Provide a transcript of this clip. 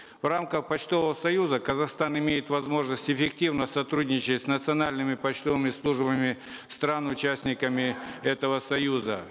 в рамках почтового союза казахстан имеет возможность эффективно сотрудничать с национальными почтовыми службами стран участниками этого союза